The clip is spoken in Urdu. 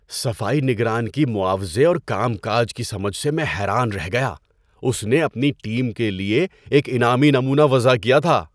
صفائی نگران کی معاوضے اور کام کاج کی سمجھ سے میں حیران رہ گیا۔ اس نے اپنی ٹیم کے لیے ایک انعامی نمونہ وضع کیا تھا۔